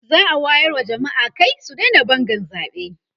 za'a wayar wa jamma'a Kai su Daina Bangan zaɓe